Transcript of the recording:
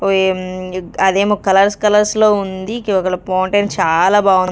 అదేమో కలర్ కలర్స్లో ఉంది ఫౌంటెన్ చాలా బా--